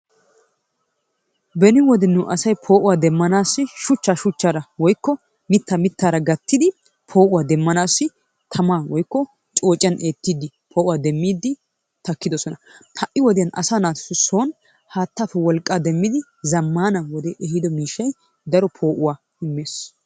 Beni wode nu asay poo'uwa demmanaassi shuchchaa shuchchaara woykko mitaaa mitaara gattidi poo'uwa demmanaassi tamman woykko coocciyan eetiidi poo'uwa demiidi takkidosona. ha'i wpodiyan asaa naatussi son haataappe wolqaa demmidi zamaana wodee ehiido miishshay daro poo'uwa immees.